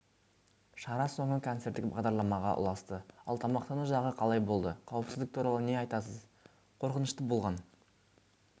шара соңы концерттік бағдарламаға ұласты ал тамақтану жағы қалай болды қауіпсіздік туралы не айтасыз қорқынышты болған